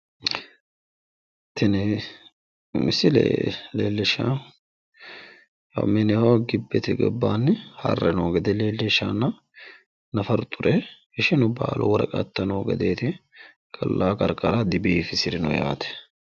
tini misile leellishshaahu mineho gibbete gobbaanni harre noo gede leellishshaaho nafaru xure ishinu baalu woraqatta noo gedeeti ollaa qarqara dibiifisirino yaate.